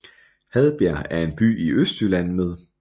Hadbjerg er en by i Østjylland med